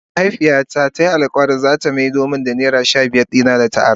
Mahaifiya na ta yi alkawali za ta maido da naira shabiyar da ta ara.